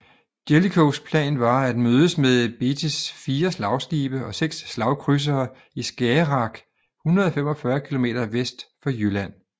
Jellicoes plan var at mødes med Beattys fire slagskibe og seks slagkrydsere i Skagerrak 145 kilometer vest for Jylland